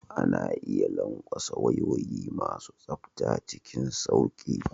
Ana iya lanƙwasa wayoyi masu tsafta cikin sauƙi.